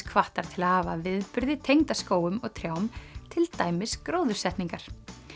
hvattar til hafa viðburði tengda skógum og trjám til dæmis gróðursetningar